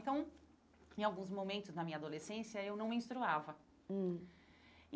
Então, em alguns momentos da minha adolescência, eu não menstruava. Hum